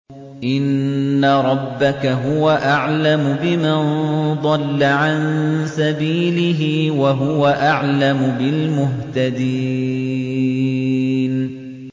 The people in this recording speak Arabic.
إِنَّ رَبَّكَ هُوَ أَعْلَمُ بِمَن ضَلَّ عَن سَبِيلِهِ وَهُوَ أَعْلَمُ بِالْمُهْتَدِينَ